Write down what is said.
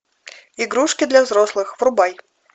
игрушки для взрослых врубай